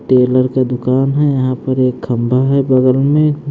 Taylor का दुकान है यहां पर एक खंभा है बगल में--